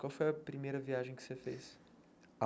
Qual foi a primeira viagem que você fez?